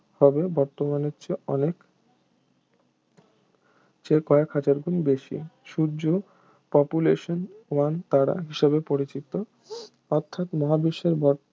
হবে বর্তমানের চেয়ে অনেক যে কয়েক হাজার গুণ বেশি সূর্য population one তারা হিসেবে পরিচিত অর্থাৎ মহাবিশ্বের ব